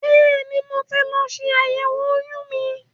Bẹ́ẹ̀ni, mo ti lọ ṣe àyẹ̀wò oyún mi.